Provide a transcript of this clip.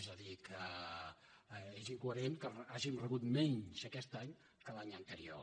és a dir que és incoherent que hàgim rebut menys aquest any que l’any anterior